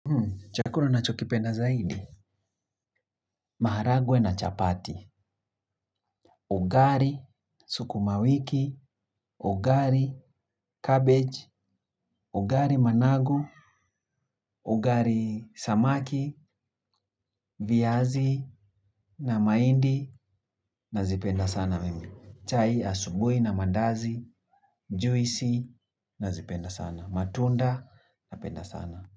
Chakula unachokipenda zaidi, maharagwe na chapati, ugali sukuma wiki, ugali cabbage, ugali managu, ugali samaki, viazi na mahindi nazipenda sana mimi. Chai asubuhi na mandazi, juisi nazipenda sana. Matunda napenda sana.